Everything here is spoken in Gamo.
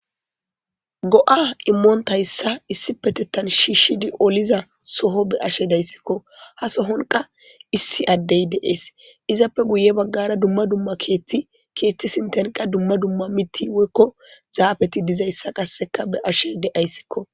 Go77a imontta misha issippe shishidi olishe dizzaysa be'she de'she de'ss hasohan qa issi adey dees izzappe guye bagarra qas keethi dumma dumma zaffeti de'yzzysa be'she daysikko.